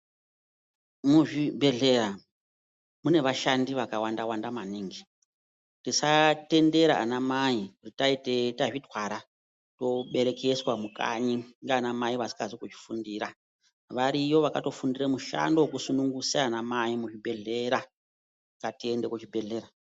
Muzvibhedhleya mune vashandi vakawanda wanda maningi Tisatendera ana mai kuti tisu tazvitwara toberekeswa mukanyi ndiana mai vasina kozvifundira .Variyo vakatofundira mishando yekutosunungusa ana mai muzvibhedhleya ,ngatiende kuzvibhedhleya.